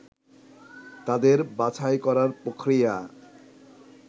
তাদের বাছাই করার প্রক্রিয়া